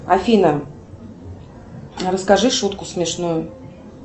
афина расскажи шутку смешную